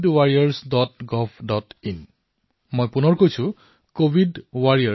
মই আকৌ এবাৰ কৈছো covidwarriorsgovin